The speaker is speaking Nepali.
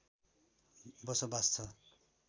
बसोबास छ